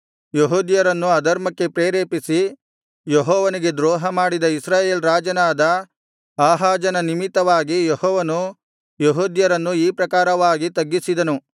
ಯೆಹೂದ್ಯರನ್ನು ಅಧರ್ಮಕ್ಕೆ ಪ್ರೇರೇಪಿಸಿ ಯೆಹೋವನಿಗೆ ದ್ರೋಹಮಾಡಿದ ಇಸ್ರಾಯೇಲ್ ರಾಜನಾದ ಆಹಾಜನ ನಿಮಿತ್ತವಾಗಿ ಯೆಹೋವನು ಯೆಹೂದ್ಯರನ್ನು ಈ ಪ್ರಕಾರವಾಗಿ ತಗ್ಗಿಸಿದನು